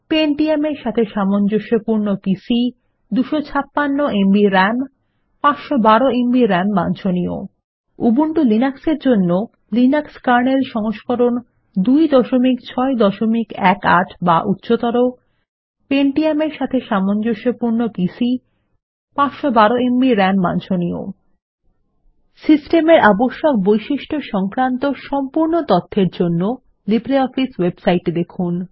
Pentium এর সাথে সামঞ্জস্যপূর্ণ PC 256 MB RAM 512 MB RAM বাঞ্ছনীয় উবুন্টু লিনাক্স এর জন্য লিনাক্স কার্নেল সংস্করণ 2618 বা উচ্চতর Pentium এর সাথে সামঞ্জস্যপূর্ণ পিসি 512এমবি রাম বাঞ্ছনীয় সিস্টেমের আবশ্যক বৈশিষ্ট্য সংক্রান্ত সম্পূর্ণ তথ্যের জন্য লিব্রিঅফিস ওএবসাইট এ দেখুন